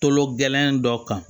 Kolo gɛlɛn dɔ kan